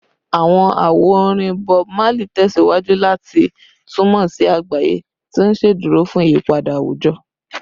Awọn awo-orin Bob Marley tẹsiwaju lati tunmọ si agbaye, ti n ṣeduro fun iyipada awujọ